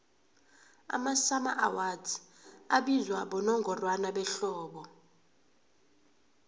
amasummer awards abizwa bonongorwana behlobo